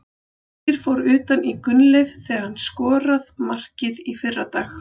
Birkir fór utan í Gunnleif þegar hann skorað markið í fyrradag.